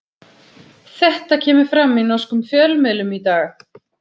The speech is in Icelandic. Þetta kemur fram í norskum fjölmiðlum í dag.